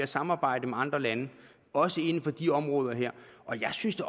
samarbejde med andre lande også inden for de områder her og jeg synes da